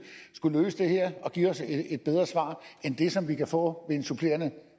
skulle kunne løse det her og give os et bedre svar end det som vi kan få ved en supplerende